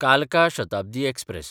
कालका शताब्दी एक्सप्रॅस